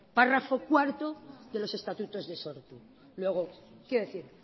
párrafo cuatro de los estatutos de sortu luego quiero decir